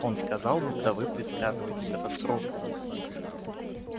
он сказал будто вы предсказываете катастрофу